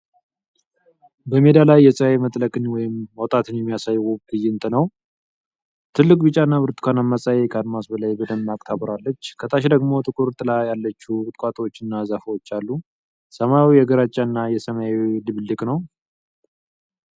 በሜዳ ላይ የፀሐይ መጥለቅን ወይም መውጣትን የሚያሳይ ውብ ትዕይንት ነው። ትልቁ ቢጫና ብርቱካናማ ፀሐይ ከአድማስ በላይ በደማቅ ታበራለች። ከታች ደግሞ ጥቁር ጥላ ያላቸው ቁጥቋጦዎች እና ዛፎች አሉ። ሰማዩ የግራጫና የሰማያዊ ድብልቅ ነው።